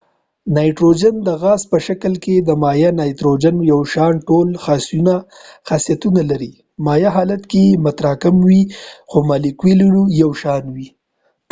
نایتروجن د غاز په شکل کې د مایع نایتروجن یو شان ټول خاصیتونه لري مایع حالت یې متراکم وي خو مالیکولونه یې یو شان وي